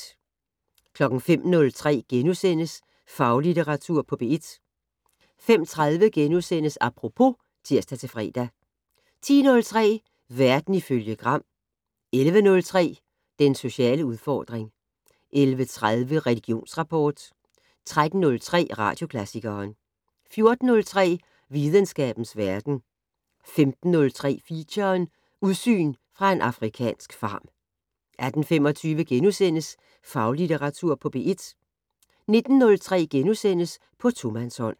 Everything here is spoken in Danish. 05:03: Faglitteratur på P1 * 05:30: Apropos *(tir-fre) 10:03: Verden ifølge Gram 11:03: Den sociale udfordring 11:30: Religionsrapport 13:03: Radioklassikeren 14:03: Videnskabens Verden 15:03: Feature: Udsyn fra en afrikansk farm 18:25: Faglitteratur på P1 * 19:03: På tomandshånd *